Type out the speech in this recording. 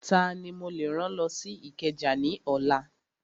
Tani mo lè rán lọ sí Ìkẹjà ní ọ̀la?